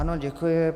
Ano, děkuji.